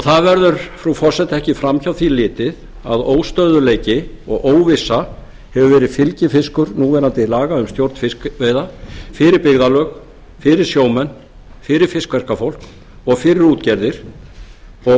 það verður frú forseti ekki framhjá því verður ekki litið að óstöðugleiki og óvissa hefur verið fylgifiskur núverandi laga um stjórn fiskveiða fyrir byggðarlög fyrir sjómenn fyrir fiskverkafólk og fyrir útgerðir og